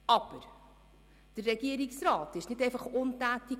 Aber der Regierungsrat blieb, wie erwähnt, nicht untätig;